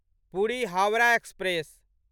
Puri Howrah express